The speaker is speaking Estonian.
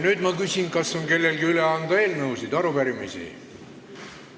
Nüüd ma küsin, kas kellelgi on üle anda eelnõusid või arupärimisi.